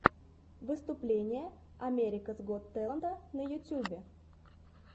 выступление америкас гот тэлента на ютьюбе